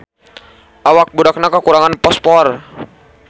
Awak budakna kakurangan fosfor